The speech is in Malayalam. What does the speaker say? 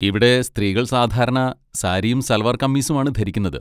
ഇവിടെ സ്ത്രീകൾ സാധാരണ സാരിയും സൽവാർ കമീസുമാണ് ധരിക്കുന്നത്.